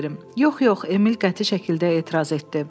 Yox, yox, Emil qəti şəkildə etiraz etdi.